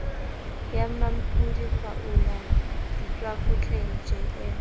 ya mmampodi kgwaolla ditswakotleng jm